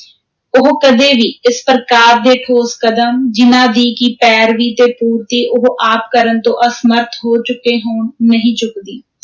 ਉਹ ਕਦੇ ਵੀ ਇਸ ਪ੍ਰਕਾਰ ਦੇ ਠੋਸ ਕਦਮ, ਜਿਨ੍ਹਾਂ ਦੀ ਕਿ ਪੈਰਵੀ ਤੇ ਪੂਰਤੀ ਉਹ ਆਪ ਕਰਨ ਤੋਂ ਅਸਮਰੱਥ ਹੋ ਚੁੱਕੇ ਹੋਣ, ਨਹੀਂ ਚੁੱਕਦੀ।